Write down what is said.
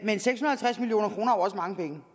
hun